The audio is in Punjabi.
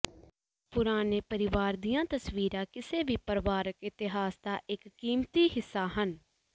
ਪੁਰਾਣੇ ਪਰਿਵਾਰ ਦੀਆਂ ਤਸਵੀਰਾਂ ਕਿਸੇ ਵੀ ਪਰਿਵਾਰਕ ਇਤਿਹਾਸ ਦਾ ਇੱਕ ਕੀਮਤੀ ਹਿੱਸਾ ਹਨ